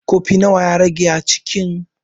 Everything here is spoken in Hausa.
Kofi nawa ya rage a kicin?